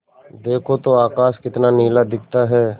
देखो तो आकाश कितना नीला दिखता है